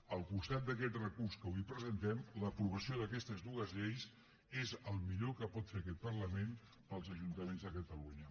al costat d’aquest recurs que avui presentem l’aprovació d’aquestes dues lleis és el millor que pot fer aquest parlament pels ajuntaments de catalunya